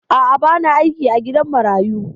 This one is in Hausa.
A'a, ba na aiki a gidan marayu.